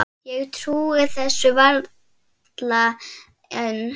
Ég trúi þessu varla enn.